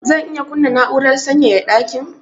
Zan iya kunna na'urar sanyaya dakin?